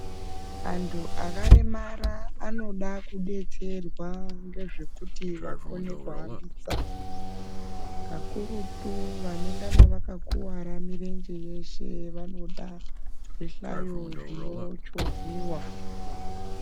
Antu akaremara anoda kudetserwa ngezvekuti vakone kuhambisa kakurutu vanengana vakakuwara mirenje yeshe vanoda zvihlayo zvinochivhiwaml.